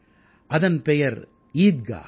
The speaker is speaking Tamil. அதன் பெயர் ஈத்காஹ்